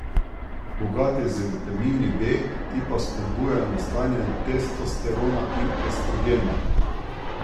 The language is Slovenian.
Bogat je z vitamini B, ti pa spodbujajo nastajanje testosterona in estrogena.